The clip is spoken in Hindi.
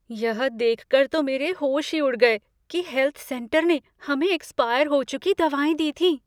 यह देखकर तो मेरे होश ही उड़ गए कि हेल्थ सेंटर ने हमें एक्सपायर हो चुकी दवाएँ दी थीं।